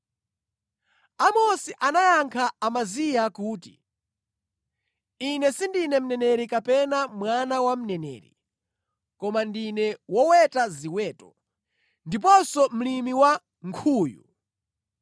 Amosi anayankha Amaziya kuti, “Ine sindine mneneri kapena mwana wa mneneri; koma ndine woweta ziweto, ndiponso mlimi wa nkhuyu.